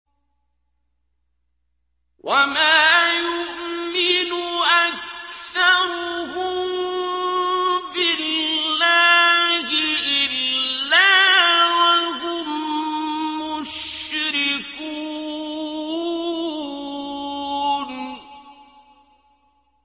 وَمَا يُؤْمِنُ أَكْثَرُهُم بِاللَّهِ إِلَّا وَهُم مُّشْرِكُونَ